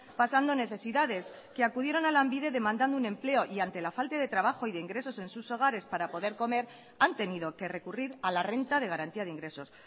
pasando necesidades que acudieron a lanbide demandando un empleo y ante la falta de trabajo y de ingresos en sus hogares para poder comer han tenido que recurrir a la renta de garantía de ingresos